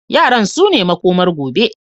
Yaran sune makomar gobe.